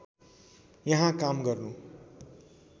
यहाँ काम गर्नु